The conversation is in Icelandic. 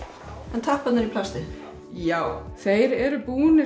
en tapparnir í plastið já þeir eru búnir